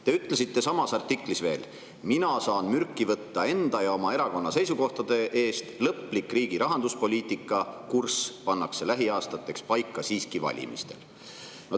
Te ütlesite samas artiklis veel: "Mina saan mürki võtta enda ja oma erakonna seisukohtade eest, lõplik riigi rahanduspoliitika kurss pannakse lähiaastateks paika siiski valimistel.